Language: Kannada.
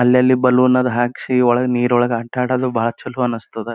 ಅಲ್ಲಲ್ಲಿ ಬಲೂನ್ ಅದ್ ಹಾಕ್ಸಿ ಒಳಗ್ ನೀರ್ ಒಳಗ್ ಆಟ ಆಡೋದು ಬಹಳ ಚಲೋ ಅನ್ನಿಸ್ತದ.